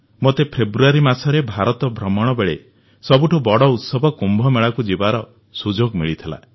ମୋତେ ଫେବୃଆରୀ ମାସରେ ଭାରତ ଭ୍ରମଣବେଳେ ସବୁଠୁ ବଡ଼ ଉତ୍ସବ କୁମ୍ଭମେଳାକୁ ଯିବାର ସୁଯୋଗ ମିଳିଥିଲା